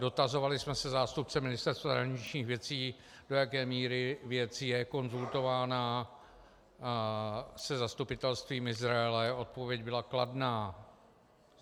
Dotazovali jsme se zástupce Ministerstva zahraničních věcí, do jaké míry věc je konzultována se zastupitelstvím Izraele, odpověď byla kladná.